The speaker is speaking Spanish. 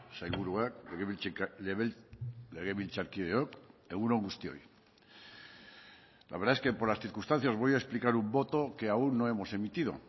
sailburuak legebiltzarkideok egun on guztioi la verdad es que por las circunstancias voy a explicar un voto que aún no hemos emitido